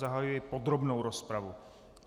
Zahajuji podrobnou rozpravu.